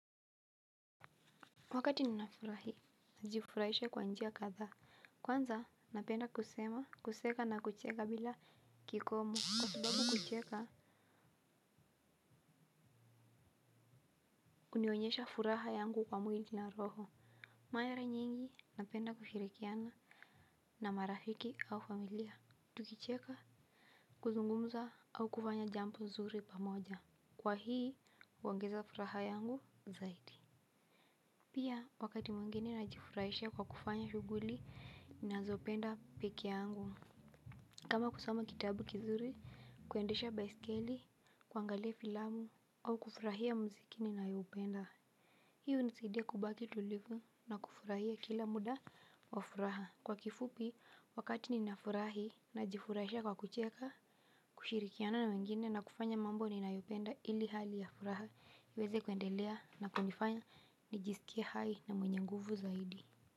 Wakati nina furahi, najifurahisha kwa njia kadhaa. Kwanza, napenda kusema, kuseka na kucheka bila kikomo. Kwa sababu kucheka, hunionyesha furaha yangu kwa mwili na roho. Mara nyingi, napenda kushirikiana na marafiki au familia. Tukicheka, kuzungumza au kufanya jambo nzuri pamoja. Kwa hii, huongeza furaha yangu zaidi. Pia, wakati mwingine najifurahisha kwa kufanya shughuli, ninazopenda peke yangu. Kama kusoma kitabu kizuri, kuendesha baisikeli, kuangalia filamu, au kufurahia mziki ninayopenda. Hi hunisadia kubaki tulivu na kufurahia kila muda, kwa furaha. Kwa kifupi, wakati ninafurahi najifurahisha kwa kucheka, kushirikiana na wengine na kufanya mambo ninayopenda ili hali ya furaha, iweze kuendelea na kunifanya nijisikie hai na mwenye nguvu zaidi.